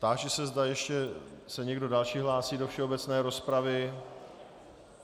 Táži se, zda se ještě někdo další hlásí do všeobecné rozpravy.